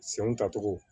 Senw tacogo